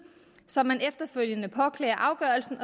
som man efterfølgende påklager afgørelsen